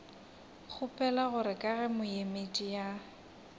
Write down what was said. kgopela gore ka ge moemedi